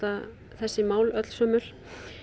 þessi mál öllsömul